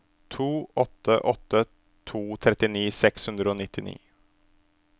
to åtte åtte to trettini seks hundre og nittini